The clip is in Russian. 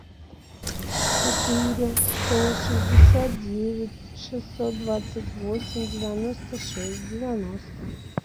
четыре сто шестьдесят девять шестьсот двадцать восемь девяносто шесть девяносто